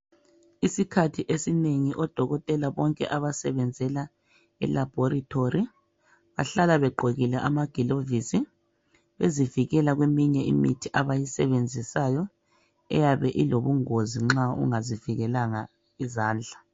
Isikhathi esinengi odokotela bonke abasebenzela elabholitori bahlala begqokile amagilovisibezivikela kweminye imithi abayisebenzisayo eyabe ilobungozi nxa ungazi vikelanga izandla.